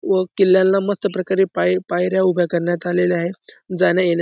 व किल्ल्याला मस्त प्रकारे पाय-पायऱ्या उभ्या करण्यात आलेल्या आहे जाण्यायेण्या--